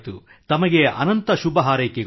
ತಮಗೆ ಅನಂತ ಶುಭಹಾರೈಕೆಗಳು